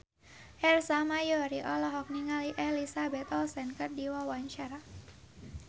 Ersa Mayori olohok ningali Elizabeth Olsen keur diwawancara